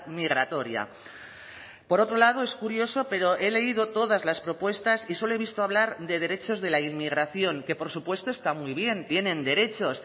migratoria por otro lado es curioso pero he leído todas las propuestas y solo he visto hablar de derechos de la inmigración que por supuesto está muy bien tienen derechos